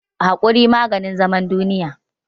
Haƙuri maganin zaman duniya